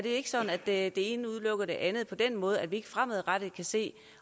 ikke sådan at det ene udelukker det andet på den måde at vi ikke fremadrettet kan se